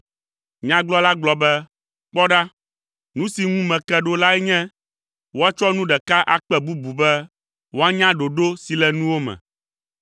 Nyagblɔla gblɔ be, “Kpɔ ɖa, nu si ŋu meke ɖo lae nye, woatsɔ nu ɖeka akpe bubu be woanya ɖoɖo si le nuwo me.